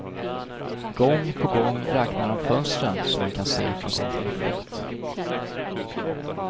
Gång på gång räknar han fönstren som han kan se från sin tillflykt.